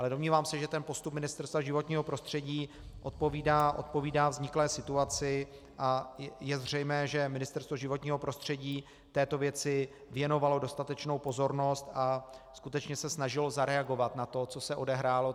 Ale domnívám se, že ten postup Ministerstva životního prostředí odpovídá vzniklé situaci, a je zřejmé, že Ministerstvo životního prostředí této věci věnovalo dostatečnou pozornost a skutečně se snažilo zareagovat na to, co se odehrálo.